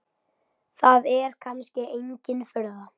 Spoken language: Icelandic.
Það er kannski engin furða.